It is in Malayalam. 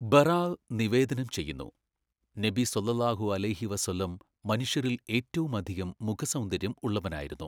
ബറാഅ് നിവേദനം ചെയ്യുന്നു, നബി സ്വല്ലല്ലാഹു അലൈഹി വ സല്ലം മനുഷ്യരിൽ ഏറ്റവുമധികം മുഖസൗന്ദര്യം ഉളളവനായിരുന്നു.